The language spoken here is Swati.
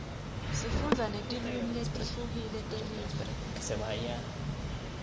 sifundza netilwimi letihlukile telive